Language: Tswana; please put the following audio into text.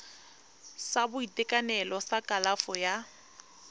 sa boitekanelo sa kalafo ya